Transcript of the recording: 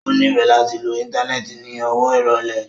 O nifẹ lati lo íńtánẹ́ẹ̀tì ni ọwọ irọlẹ.